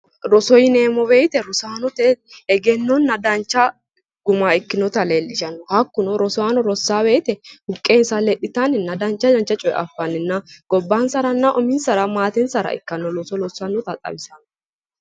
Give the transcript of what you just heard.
Roso yineemmo woyiite, rosaanote egennonna dancha guma ikkinota leellishanno hakkuno rosaano rossaa woyite buqqee lexxitanninna dancha coye affanninna gobbansaranna uminsara maatensara ikkanno loossannota xawissanno.